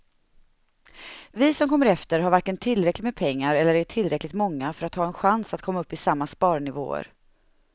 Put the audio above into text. Vi som kommer efter har varken tillräckligt med pengar eller är tillräckligt många för att ha en chans att komma upp i samma sparnivåer.